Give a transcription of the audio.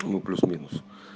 ну плюс минус